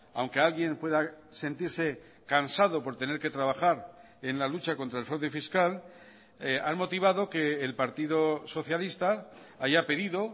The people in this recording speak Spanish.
aunque alguien pueda sentirse cansado por tener que trabajar en la lucha contra el fraude fiscal han motivado que el partido socialista haya pedido